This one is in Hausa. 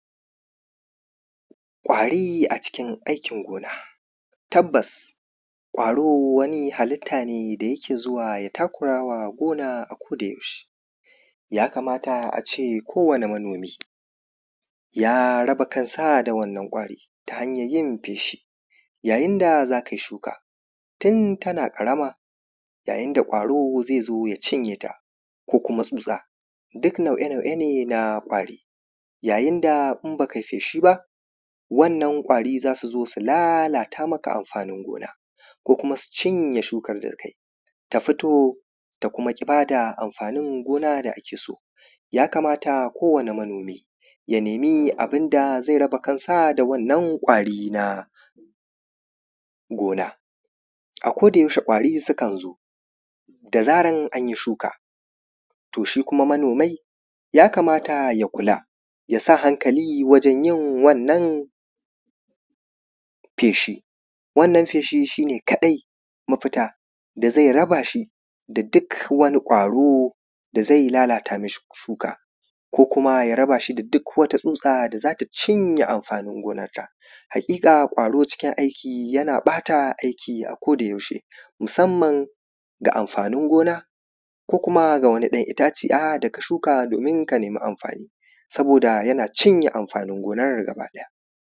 ƙwari a cikin aikin gona tabbas ƙwaro wani halitta ne da yake zuwa ya takurawa gona a koda yaushe ya kamata a ce kowane manomi ya raba kansa da wannan ƙwari ta hanyar yin feshi yayin da za kai shuka tun tana ƙarama yayin da ƙwaro zai zo ya cinye ta ko kuma tsutsa duk nau’e nau’e na ƙwari yayin da in ba ka yi feshi ba wannan ƙwari za su zo su lallata maka amfanin gona ko kuma su cinye shukan da ka yi ta fito ta kuma ƙi ba da amfanin gona da ake so kamata kowane manomi ya nemi abinda zai raba kansa da wannan ƙwari na gona a koda yaushe ƙwari sukan zo da zarar an yi shuka to shi kuma manomi ya kamata ya kula ya sa hankali wajen yin wannan feshi wannan feshi shi ne kaɗai mafita da zai raba shi da duk wani ƙwaro da zai lalata mishi shuka ko kuma ya raba shi da duk wata tsutsa da za ta cinye amfanin gonarsa haƙiƙa ƙwaro cikin aiki yana ɓata aiki a koda yaushe musamman ga amfanin gona ko kuma ga wani ɗan itaciya da ka shuka domin ka nemi amfani saboda yana cinye amfanin gonar gaba daya